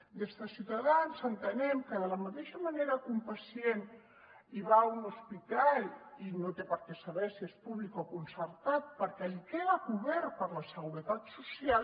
des de ciutadans entenem que de la mateixa manera que un pacient va a un hospital i no té per què saber si és públic o concertat perquè li queda cobert per la seguretat social